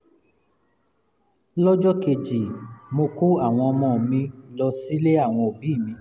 lọ́jọ́ kejì mo kó àwọn ọmọ mi lọ sílé àwọn òbí mi